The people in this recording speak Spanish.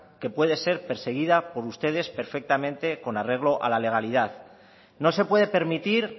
que puede ser perseguida por ustedes perfectamente con arreglo a la legalidad no se puede permitir